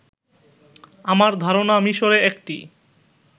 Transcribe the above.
আমার ধারনা মিশরে একটি